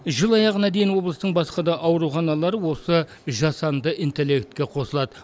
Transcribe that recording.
жыл аяғына дейін облыстың басқа да ауруханалары осы жасанды интеллектке қосылады